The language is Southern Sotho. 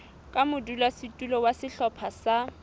ka modulasetulo wa sehlopha sa